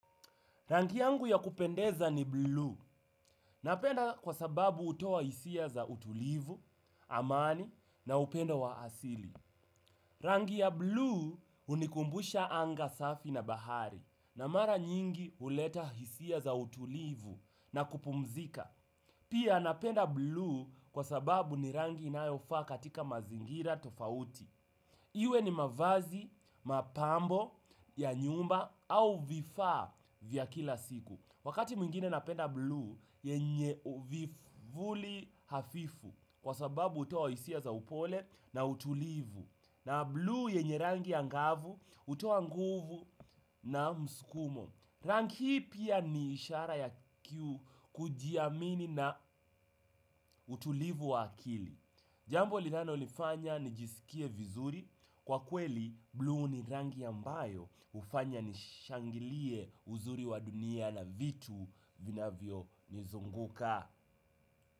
Rangi yangu ya kupendeza ni bluu, napenda kwa sababu hutoa hisia za utulivu, amani na upendo wa asili. Rangi ya bluu hunikumbusha anga safi na bahari, na mara nyingi huleta hisia za utulivu na kupumzika. Pia napenda bluu kwa sababu ni rangi inayofaa katika mazingira tofauti. Iwe ni mavazi, mapambo ya nyumba au vifaa vya kila siku. Wakati mwingine napenda bluu yenye uvuli hafifu kwa sababu hutoa hisia za upole na utulivu. Na bluu yenye rangi ya ngavu hutoa nguvu na mskumo. Rangi hii pia ni ishara ya kujiamini na utulivu wa akili. Jambo linalo nifanya nijisikie vizuri, kwa kweli bluu ni rangi ambayo hufanya nishangilie uzuri wa dunia na vitu vinavyo nizunguka.